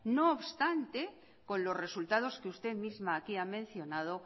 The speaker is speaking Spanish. no obstante con los resultados que usted misma aquí ha mencionado